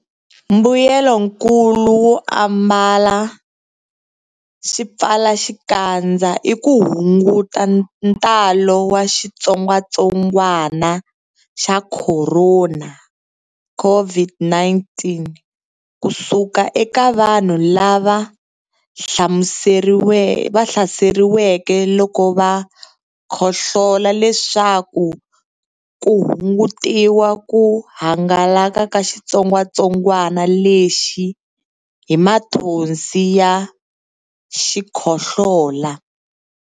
Mbuyelonkulu wo ambala swipfalaxikandza i ku hunguta ntalo wa xitsongwantsongwana xa Khorona, COVID-19, ku suka eka vanhu lava hlaseriweke loko va khohlola leswaku ku hungutiwa ku hangalaka ka xitsongwantsongwana lexi hi mathonsi ya xikhohlola.